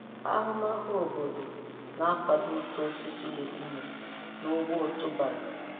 Ahụmahụ obodo na-akwado uto osisi legiumu n'ugbo otubala.